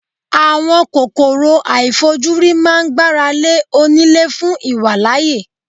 Àwọn kòkòrò àìfojúrí máa ń gbára lé oní lé fún ìwàlàyé.